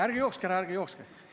Ärge jookske ära!